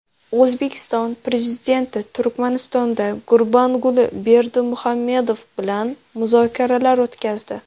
O‘zbekiston Prezidenti Turkmanistonda Gurbanguli Berdimuhamedov bilan muzokaralar o‘tkazdi.